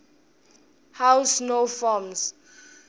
how snow forms